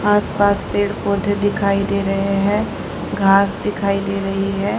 आसपास पेड़ पौधे दिखाई दे रहे हैं घास दिखाई दे रही है।